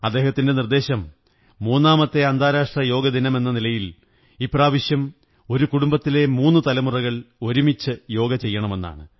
അദ്ദേഹത്തിന്റെ നിര്ദ്ദേതശം മൂന്നാമത്തെ അന്താരാഷ്ട്ര യോഗ ദിനമെന്ന നിലയിൽ ഇപ്രാവശ്യം ഒരു കുടുംബത്തിലെ മൂന്നു തലമുറകൾ ഒരുമിച്ചു യോഗ ചെയ്യണമെന്നാണ്